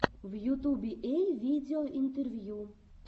в ютубе эй видео интервью